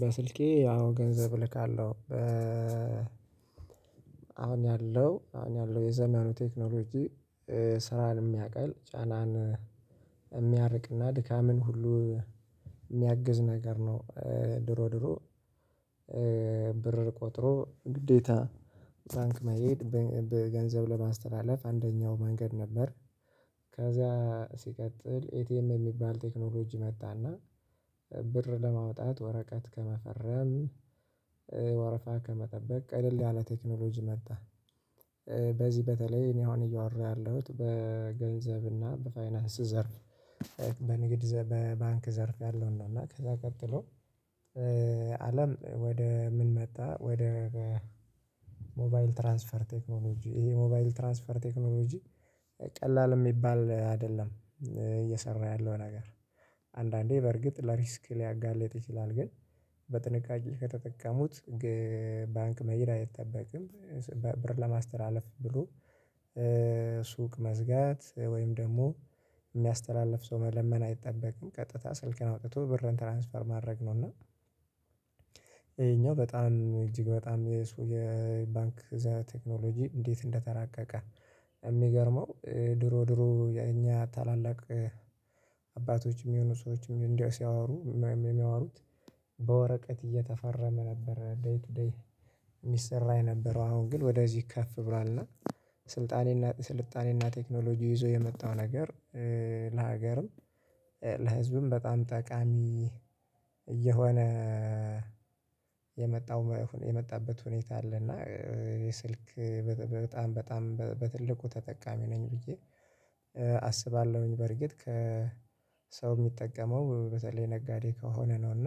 በስልኬ ያው ገንዘብ እልካለሁ። አሁን ያለው አሁን ያለው የዘመኑ ቴክኖሎጂ ስራን የሚያቀል ጫናን የሚያርቅና ድካምን ሁሉ የሚያግዝ ነገር ነው። ድሮ ድሮ ብር ቆጥሮ ግዴታ ባንክ መሄድ በገንዘብ ለማስተላለፍ አንደኛው መንገድ ነበር። ከዛ ሲቀጥል ኤቲኤም የሚባል ቴክኖሎጂ መጣና ብር ለማውጣት ወረቀት ከመፈረም ወረፋ ከመጠበቅ ቀለል ያለ ቴክኖሎጂ መጣ። በዚህ በተለይ እኔ አሁን እያወራሁ ያለሁት በገንዘብና በፋይናንስ ዘርፍ በንግድ በባንክ ዘርፍ ያለውን ነው። እና ከዛ ቀጥሎ አለም ወደ ምን መጣ ወደ ሞባይል ትራንስፈር ቴክኖሎጂ ይሄ ሞባይል ትራንስፈር ቴክኖሎጂ። ቀላል የሚባል አይደለም እየሰራ ያለው ነገር አንዳንዴ በርግጥ ለሪስክ ሊያጋለጥ ይችላል ግን በጥንቃቄ ከተጠቀሙት ባንክ መሄድ አይጠበቅም። ብር ለማስተላለፍ ብሎ ሱቅ መዝጋት ወይም ደግሞ የሚያስተላልፍ ሰው መለመን አይጠበቅም ቀጥታ ስልክን አውጥቶ ብርን ትራንስፈር ማድረግ ነው። እና ይሄኛው በጣም እጅግ በጣም የሱ የባንክ ዘ ቴክኖሎጂ እንዴት እንደተራቀቀ። የሚገርመው ድሮ ድሮ እኛ ታላላቅ አባቶችም የሁኑ ሰዎችም ሲያወሩ የሚያወሩት በወረቀት እየተፈረመ ነበር ደይ ቱ ደይ የሚሰራ የነበረው አሁን ግን ወደዚህ ከፍ ብሏልና። ስልጣኔና ቴክኖሎጂ ይዞ የመጣው ነገር ለሀገርም ለህዝብም በጣም ጠቃሚ እየሆነ የመጣው የመጣበት ሁኔታ አለ። እና የስልክ በጣም በጣም በትልቁ ተጠቃሚ ነኝ ብዬ አስባለሁኝ። በርግጥ ከሰው የሚጠቀመው በተለይ ነጋዴ ከሆነ ነው። እና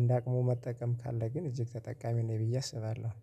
እንደ አቅሙ መጠቀም ካለ ግን እጅግ ተጠቃሚ ነኝ ብዬ አስባለሁ